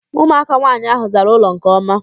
Ụmụaka nwaanyị ahụ zara ụlọ nke ọma